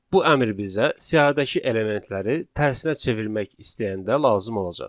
Bu əmr bizə siyahıdakı elementləri tərsinə çevirmək istəyəndə lazım olacaq.